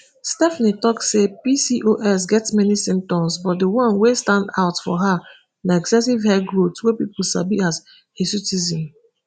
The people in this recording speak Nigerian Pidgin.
stephanie tok say pcos get many symptoms but di one wey stand out for her na excessive hair growth wey pipo sabi as as hirsutism